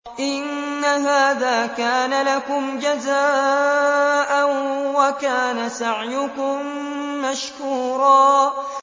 إِنَّ هَٰذَا كَانَ لَكُمْ جَزَاءً وَكَانَ سَعْيُكُم مَّشْكُورًا